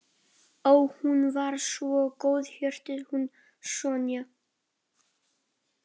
Ó, hún var svo góðhjörtuð hún Sonja.